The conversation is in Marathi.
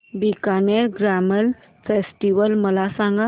बीकानेर कॅमल फेस्टिवल मला सांग